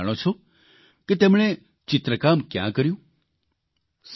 પરંતુ શું તમે જાણો છો કે એમણે ચિત્રકામ કયાં કર્યું